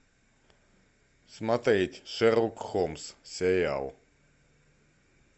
смотреть шерлок холмс сериал